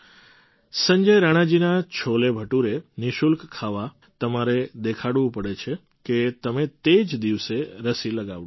સંજય રાણાજીના છોટેભટુરે નિઃશુલ્ક ખાવા તમારે દેખાડવું પડે છે કે તમે તે જ દિવસે રસી લગાવડાવી છે